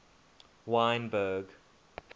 wynberg